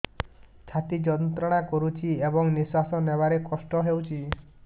ଛାତି ଯନ୍ତ୍ରଣା କରୁଛି ଏବଂ ନିଶ୍ୱାସ ନେବାରେ କଷ୍ଟ ହେଉଛି